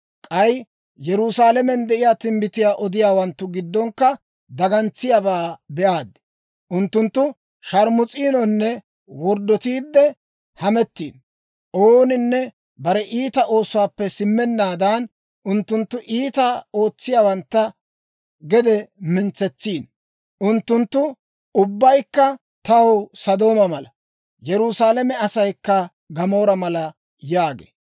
K'ay Yerusaalamen de'iyaa timbbitiyaa odiyaawanttu giddonkka dagantsiyaabaa be'aad. Unttunttu sharmus'iinonne worddotiidde hamettiino. Ooninne bare iita oosuwaappe simmennaadan, unttunttu iitaa ootsiyaawantta gede mintsetsiino. Unttunttu ubbaykka taw Sodooma mala; Yerusaalame asaykka Gamoora mala» yaagee.